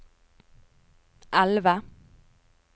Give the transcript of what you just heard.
elve